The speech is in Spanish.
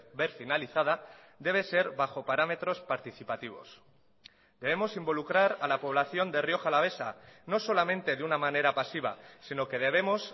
ver finalizada debe ser bajo parámetros participativos debemos involucrar a la población de rioja alavesa no solamente de una manera pasiva sino que debemos